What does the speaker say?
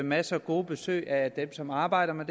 masser af gode besøg af dem som arbejder med